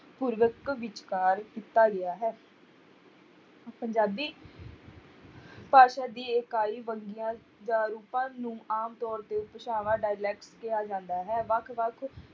ਵਿਚਕਾਰ ਦਿੱਤਾ ਗਿਆ ਹੈ ਪੰਜਾਬੀ ਭਾਸ਼ਾ ਦੀ ਇਕਾਈ ਵੰਨਗੀਆਂ ਜਾਂ ਰੂਪਾਂ ਨੂੰ ਆਮ ਤੌਰ ਤੇ ਭਾਸ਼ਾਵਾਂ dialect ਕਿਹਾ ਜਾਂਦਾ ਹੈ ਵੱਖ ਵੱਖ